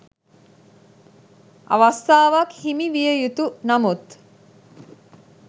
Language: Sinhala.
අවස්ථාවක් හිමි විය යුතු නමුත්